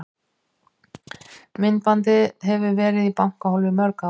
Myndbandið hefur verið í bankahólfi í mörg ár.